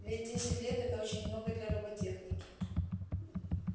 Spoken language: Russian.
ведь десять лет это очень много для роботехники